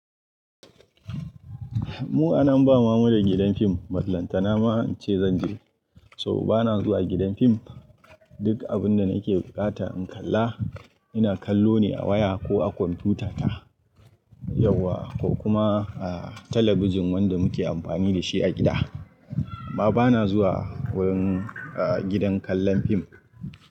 Mu a nan ba mama da gidan fim, balantana ma ince zan je. So bana zuwa gidan fim. Duk abun da nake buƙata in kalla, ina kallo ne a waya ko a kwamfutata yauwa ko kuma a talabijin wanda muke amfani da shi a gida. Baba na zuwa wurin, ah, gidan kallon fim.